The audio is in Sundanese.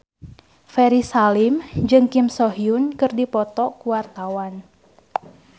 Ferry Salim jeung Kim So Hyun keur dipoto ku wartawan